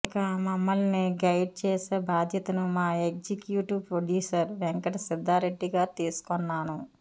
ఇక మమ్మల్ని గైడ్ చేసే బాధ్యతను మా ఎగ్జిక్యూటివ్ ప్రొడ్యూసర్ వెంకట సిద్ధారెడ్డిగారు తీసుకొన్నాను